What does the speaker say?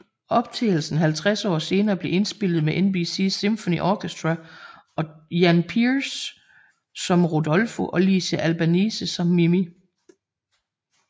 Optagelsen 50 år senere blev indspillet med NBC Symphony Orchestra og Jan Peerce som Rodolfo og Licia Albanese som Mimì